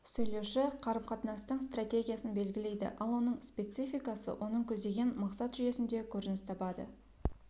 сөйлеуші қарымқатынастың стратегиясын белгілейді ал оның спецификасы оның көздеген мақсат жүйесінде көрініс табады